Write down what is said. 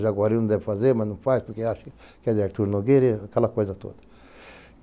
A Jaguariúna deve fazer, mas não faz, porque acha que é de Arthur Nogueira e aquela coisa toda.